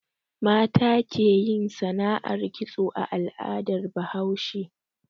Mata ke yin sana'ar kitso a al'adar Bahaushe